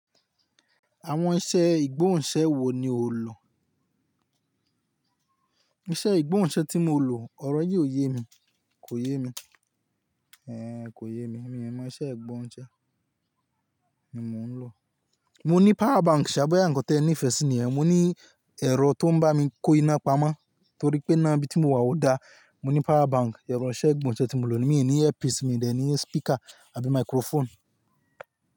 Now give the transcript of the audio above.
Àwọn iṣẹ́ ìgbóhùnsẹ́ wo ni o lò? Iṣẹ́ ìgbóhùnsẹ́ tí mo lò, ọ̀rọ̀ yí ò yé mi, kò yé mi. Eh kò yé mi, mi ò mọ iṣẹ́ ìgbóhùnsẹ́ ni mò ń lò. Mo ní power bank, ṣàbẹ yẹn nǹkan tí ẹ nífẹ̀ẹ́ sí nìyẹn. Mo ní ẹ̀rọ tó ń bá mi kọ́ iná pamọ́, torí pé níbi tí mo wà ó da. Mo ní power bank, ẹ̀rọ iṣẹ́ ìgbóhùnsẹ́ tí mo lò. Mii ni earpiece, mi ò ní speaker àbí microphone.